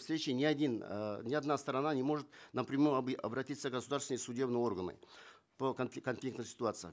встречи ни один э ни одна сторона не может напрямую обратиться в государственные судебные органы по конфликтным ситуациям